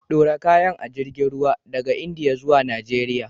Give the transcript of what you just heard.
Ɗora kayan a jirgin ruwa daga Indiya zuwa Najeriya.